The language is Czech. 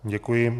Děkuji.